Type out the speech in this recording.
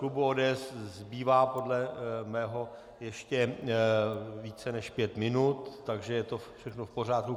Klubu ODS zbývá podle mého ještě více než pět minut, takže je to všechno v pořádku.